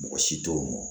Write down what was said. Mɔgɔ si t'o dɔn